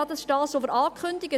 Ja, dies haben wir angekündigt.